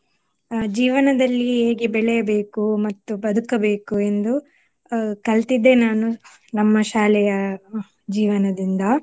ಅಹ್ ಜೀವನದಲ್ಲಿ ಹೇಗೆ ಬೆಳೆಯಬೇಕು ಮತ್ತು ಬದುಕಬೇಕು ಎಂದು ಅಹ್ ಕಲ್ತಿದ್ದೇ ನಾನು ನಮ್ಮ ಶಾಲೆಯ ಜೀವನದಿಂದ